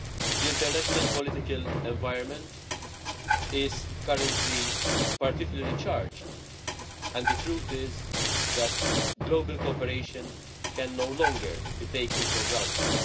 The international political environment is currently particularly charged, and the truth is that global cooperation can no longer be taken for granted.